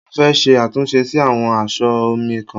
Mo fẹ́ ṣe àtúnṣe sí àwọn aṣọ ọ̀ mi kan.